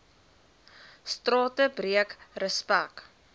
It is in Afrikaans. strate breek respek